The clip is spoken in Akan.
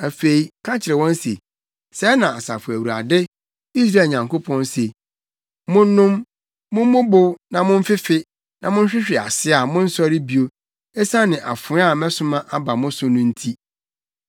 “Afei ka kyerɛ wɔn se, ‘Sɛɛ na Asafo Awurade, Israel Nyankopɔn se: Monnom, mommobow na momfefe, na mohwehwe ase a monnsɔre bio, esiane afoa a mɛsoma aba mo so no nti.’